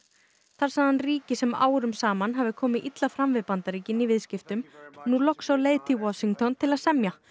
þar sagði hann ríki sem árum saman hafi komið illa fram við Bandaríkin í viðskiptum nú loks á leið til Washington til að semja